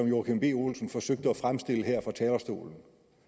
joachim b olsen forsøgte at fremstille her fra talerstolen